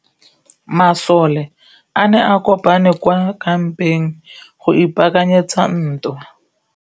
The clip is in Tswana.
Masole a ne a kopane kwa kampeng go ipaakanyetsa ntwa.